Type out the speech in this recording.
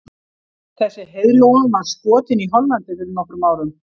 Þessi heiðlóa var skotin í Hollandi fyrir nokkrum árum.